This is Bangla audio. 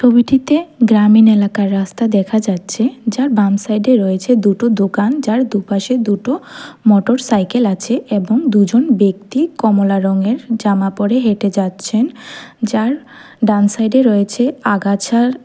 ছবিটিতে গ্রামীণ এলাকার রাস্তা দেখা যাচ্ছে যার বাম সাইডে রয়েছে দুটো দোকান যার দুপাশে দুটো মোটরসাইকেল আছে এবং দুজন ব্যক্তি কমলা রঙের জামা পড়ে হেঁটে যাচ্ছেন যার ডান সাইডে রয়েছে আগাছার--